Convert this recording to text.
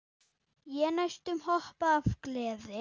Ég næstum hoppaði af gleði.